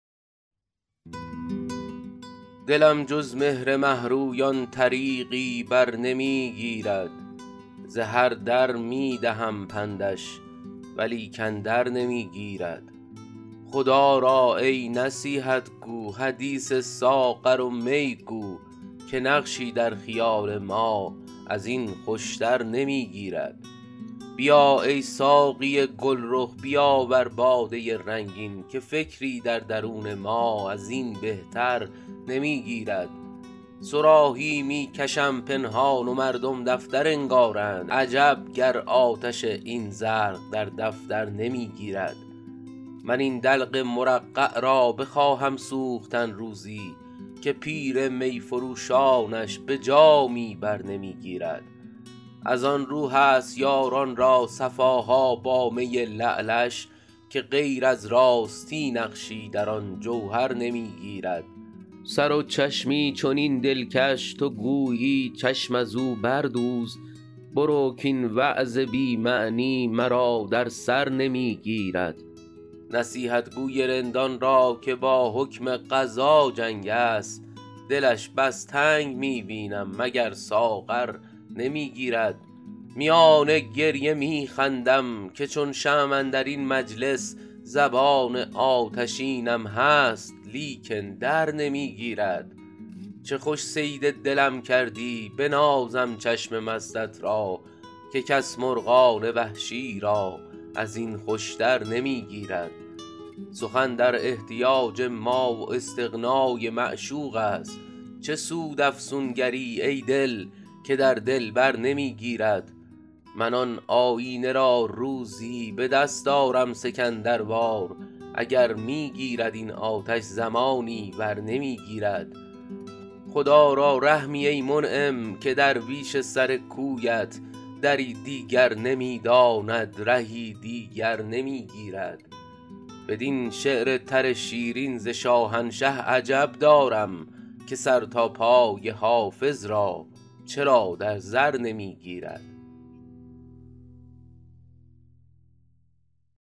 دلم جز مهر مه رویان طریقی بر نمی گیرد ز هر در می دهم پندش ولیکن در نمی گیرد خدا را ای نصیحت گو حدیث ساغر و می گو که نقشی در خیال ما از این خوش تر نمی گیرد بیا ای ساقی گل رخ بیاور باده رنگین که فکری در درون ما از این بهتر نمی گیرد صراحی می کشم پنهان و مردم دفتر انگارند عجب گر آتش این زرق در دفتر نمی گیرد من این دلق مرقع را بخواهم سوختن روزی که پیر می فروشانش به جامی بر نمی گیرد از آن رو هست یاران را صفا ها با می لعلش که غیر از راستی نقشی در آن جوهر نمی گیرد سر و چشمی چنین دلکش تو گویی چشم از او بردوز برو کاین وعظ بی معنی مرا در سر نمی گیرد نصیحتگو ی رندان را که با حکم قضا جنگ است دلش بس تنگ می بینم مگر ساغر نمی گیرد میان گریه می خندم که چون شمع اندر این مجلس زبان آتشینم هست لیکن در نمی گیرد چه خوش صید دلم کردی بنازم چشم مستت را که کس مرغان وحشی را از این خوش تر نمی گیرد سخن در احتیاج ما و استغنا ی معشوق است چه سود افسونگر ی ای دل که در دلبر نمی گیرد من آن آیینه را روزی به دست آرم سکندر وار اگر می گیرد این آتش زمانی ور نمی گیرد خدا را رحمی ای منعم که درویش سر کویت دری دیگر نمی داند رهی دیگر نمی گیرد بدین شعر تر شیرین ز شاهنشه عجب دارم که سر تا پای حافظ را چرا در زر نمی گیرد